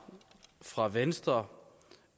fra venstre